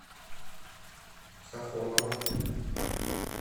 сафоново